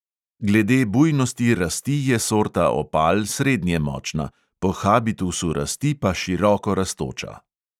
Glede bujnosti rasti je sorta opal srednje močna, po habitusu rasti pa široko rastoča.